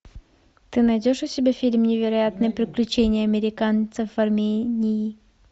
ты найдешь у себя фильм невероятные приключения американцев в армении